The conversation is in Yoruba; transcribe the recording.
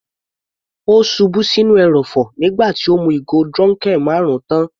Ó ṣubú sí inú ẹrọ̀fọ̀ nígbà tí ó mú ìgò dunkel marun tán.